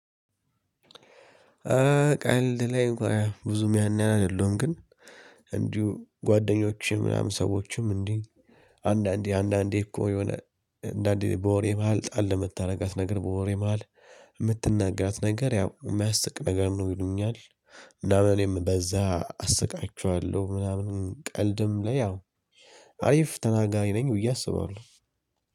ቀልድ ላይ ብዙም ያን ያህል አይደለም። ግን እንዲሁ ጓደኞቼ ምናምን ሰዎችም እንዲህ አንዳንዴ አንዳንዴ እኮ የሆነ አንዳንዴ በወሬ መሃል ጣል ለመታደርጋት ነገር በወሬ መሃል የምትናጋት ነገር ያው የሚያስቅ ነገር ነው ይሉኛል። እና በኔም በዛ አስቃችኋለሁ ምናምን። ቀልድም ላይ ያው አሪፍ ተናጋሪ ነኝ ብዬ አስባለሁ።